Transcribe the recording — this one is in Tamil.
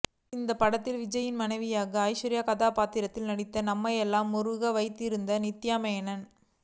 இந்த படத்தில் விஜயின் மனைவியாக ஐஷு கதாபாத்திரத்தில் நடித்து நம்மையெல்லாம் உருக வைத்திருந்தார் நித்யா மேனன்